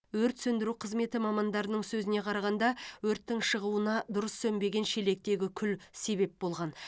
өрт сөндіру қызметі мамандарының сөзіне қарағанда өрттің шығуына дұрыс сөнбеген шелектегі күл себеп болған